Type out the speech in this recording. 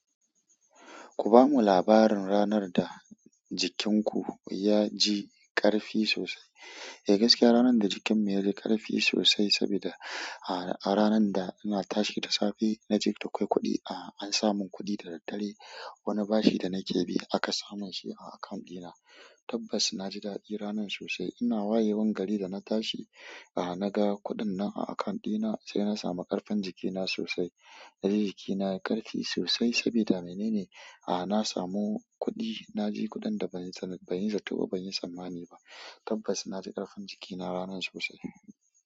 Ku bamu labarin ranar da jikinku ya ji ƙarfi sosai. Eh, gaskiya ranar da jikin mu ya ji ƙarfi sosai, sabida a ranar da ina tashi da safe na je na kai kuɗi, a an sa mun kuɗi da daddare. Wani bashi da nake bi aka sa mun shi a akant ɗina. Tabbas na ji daɗi ranar sosai. Ina wayewan gari da na tashi, a naga kuɗin nan a akant ɗina sai na samu ƙarfin jikina sosai. Naji jiki a yayi ƙarfi sossai sabida menene. A na samu kuɗi, na ji kuɗin da ban san, ban yi zatto ba, ban yi samma'ni ba. Tabbas na ji ƙarfin jikina ranar sosai.